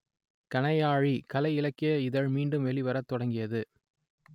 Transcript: கணையாழி கலை இலக்கிய இதழ் மீண்டும் வெளிவரத் தொடங்கியது